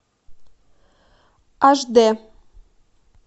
аш дэ